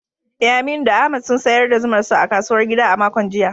Eh, Aminu da Ahmad sun sayar da zumar su a kasuwar gida a makon jiya.